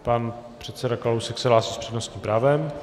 Pan předseda Kalousek se hlásí s přednostním právem.